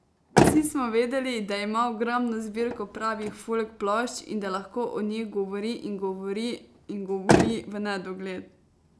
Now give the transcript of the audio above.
Vsi smo vedeli, da ima ogromno zbirko pravih folk plošč in da lahko o njih govori in govori in govori v nedogled.